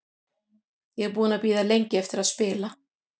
Ég er búinn að bíða lengi eftir að spila.